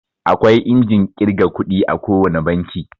Akwai injin ƙirga ƙudi a ko wane banki.